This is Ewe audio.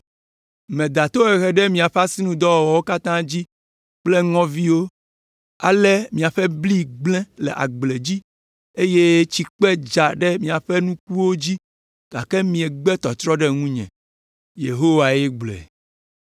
Meda tohehe ɖe miaƒe asinudɔwɔwɔwo katã dzi kple ŋɔviwo, ale miaƒe bli gblẽ le agble dzi eye tsikpe dza ɖe miaƒe nukuwo dzi gake miegbe tɔtrɔ ɖe ŋunye.’ Yehowae gblɔe.